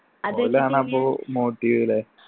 ഓലാണപ്പോ motive ല്ലേ